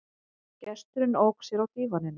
Gesturinn ók sér á dívaninum.